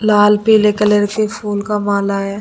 लाल पीले कलर के फूल का माला है।